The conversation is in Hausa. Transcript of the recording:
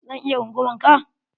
Zan iya rungumar ka?